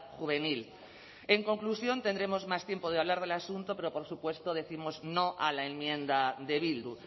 juvenil en conclusión tendremos más tiempo de hablar del asunto pero por supuesto décimos no a la enmienda de bildu